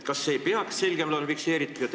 Kas see ei peaks olema seaduses selgemalt fikseeritud?